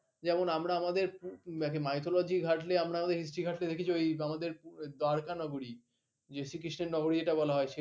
যেমন আমরা আমাদের mythology ঘটালে আমরা আমাদের history ঘটালে দেখি যে আমাদের দ্বারকানগরী শ্রী কৃষ্ণের নগরী এটা বলা হয়